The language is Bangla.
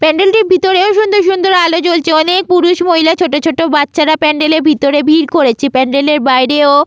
প্যান্ডেল - টির ভেতরে সুন্দর সুন্দর আলো জলছে অনেক পুরুষ মহিলা ছোটো ছোটো বাচ্চারা প্যান্ড্যাল এর ভিতরে ভিড় করেছে প্যান্ড্যাল - এর বাইরে ও --